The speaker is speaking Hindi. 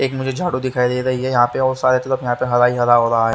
एक मुझे झाड़ू दिखाई दे रही है यहां पे और सारे तरफ यहां पे हरा ही हरा हो रहा है।